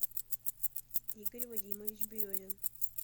игорь вадимович березин